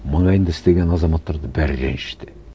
маңайында істеген азаматтардың бәрі реніште